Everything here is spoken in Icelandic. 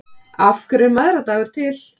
Af hverju er mæðradagur til?